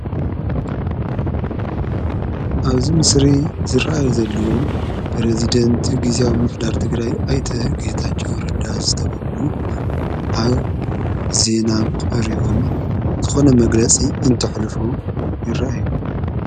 ኣብዝ ምስሪ ዝረዩ ዘለዉ ብረዝደንቲ ጊዜዊ ምፍዳር ቲግራይ ኣይተ ጌታዉ ረዳ ዝተበብሉ ኣብ ዜና ቀሪዮም ዝኾነ መግለጺ እንትሕልፉ ይረአዩ።